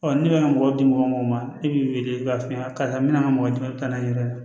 n'i bɛ ka mɔgɔ di mɔgɔ min ma i b'i wele k'a f'i ɲɛna karisa min bɛna mɔgɔ dɛmɛ